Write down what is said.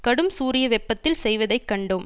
கடும் சூரிய வெப்பத்தில் செய்வதை கண்டோம்